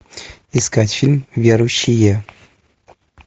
искать фильм верующие